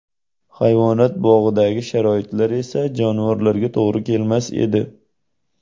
Hayvonot bog‘idagi sharoitlar esa jonivorlarga to‘g‘ri kelmas edi.